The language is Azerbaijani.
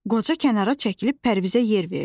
Qoca kənara çəkilib Pərvizə yer verdi.